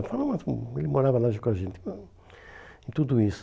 falava umas... hum, ele morava lá junto com a gente. Hum, udo isso.